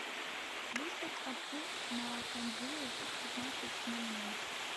выставь обдув на кондее в пятнадцать ноль ноль